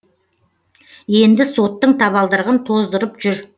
енді соттың табалдырығын тоздырып жүр